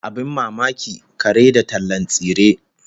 Abin mamaki, kare da tallan tsire!